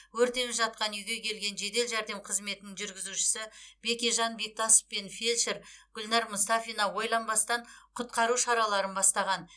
өртеніп жатқан үйге келген жедел жәрдем қызметінің жүргізушісі бекежан бектасов пен фельдшер гүлнар мұстафина ойланбастан құтқару шараларын бастаған